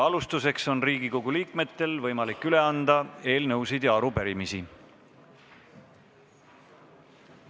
Alustuseks on Riigikogu liikmetel võimalik üle anda eelnõusid ja arupärimisi.